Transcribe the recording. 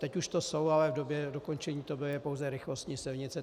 Teď už to jsou, ale v době dokončení to byly pouze rychlostní silnice.